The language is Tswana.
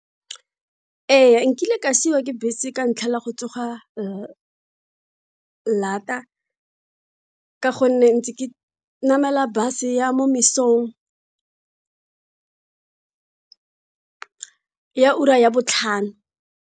Ee, nkile ka siwa ke bese ka ntlha ya go tsoga ka gonne ntse ke namela bus ya mo mosong ya ura ya botlhano.